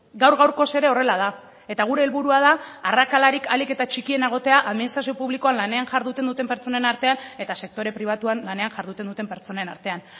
gaur gaurkoz ere horrela da eta gure helburua da arrakalarik ahalik eta txikiena egotea administrazio publikoan lanean jarduten duten pertsonen artean eta sektore pribatuan lanean jarduten duten pertsonen artean